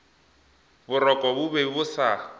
boroko bo be bo sa